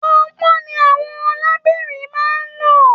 Ponpon ni àwọn lebira máa n lò.